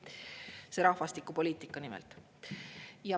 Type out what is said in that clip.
Seda rahvastikupoliitikat nimelt.